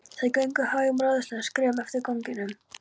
Þau ganga hægum, ráðleysislegum skrefum eftir ganginum.